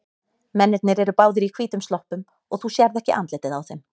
Mennirnir eru báðir í hvítum sloppum og þú sérð ekki andlitið á þeim.